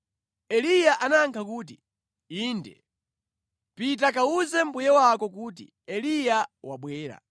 Eliya anayankha kuti, “Inde. Pita kawuze mbuye wako kuti, ‘Eliya wabwera.’ ”